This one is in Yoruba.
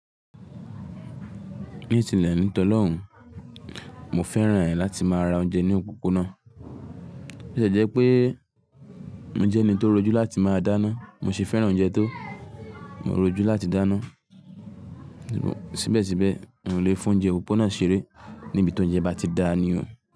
Ní tìlẹ̀ ní tọlọ́hun, mo fẹ́ràn ẹ̀ láti má ra oúnjẹ ní òpópónà. Ó tie jẹ́ pé mo jẹ́ ẹni tó rojú láti máa dáná, mo se fẹ́ràn oúnjẹ tó mo rojú láti dáná. Síbẹ̀síbẹ̀, n lè fún oúnjẹ òpópónà ṣeré níbi tí oúnjẹ bá ti dà ní oo.